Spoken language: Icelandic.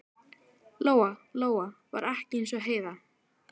Lóa-Lóa var ekki eins og Heiða